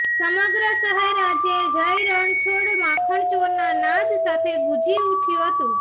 સમગ્ર શહેર આજે જયરણછોડ માખણચોરના નાદ સાથે ગુંજી ઉઠયુ હતું